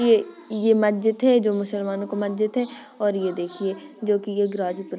ये मस्जिद है जो मुसलमानों का मस्जिद है और ये देखिये जो कि ये ग्राजीपुर --